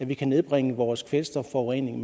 vi kan nedbringe vores kvælstofforurening